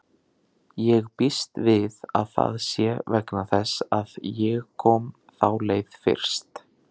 Ég býst við að það sé vegna þess að ég kom þá leið fyrst